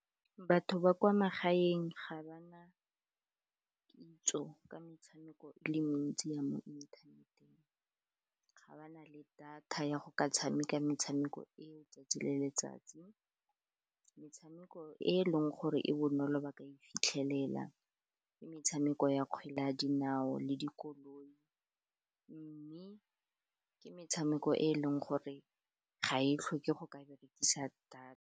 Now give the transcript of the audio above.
Batho ba kwa magaeng ga ba na kitso ka metshameko e le mentsi ya mo inthaneteng, ga ba na le data ya go ka tshameka metshameko eo 'tsatsi le letsatsi. Metshameko e e leng gore e bonolo ba ka e fitlhelela ke metshameko ya kgwele ya dinao le dikoloi, mme ka metshameko e e leng gore ga e tlhoke go ka berekisa data.